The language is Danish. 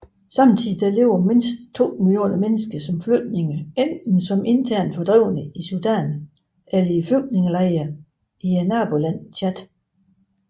Samtidig lever mindst 2 millioner mennesker som flygtninge enten som internt fordrevne i Sudan eller i flygtningelejre i nabolandet Tchad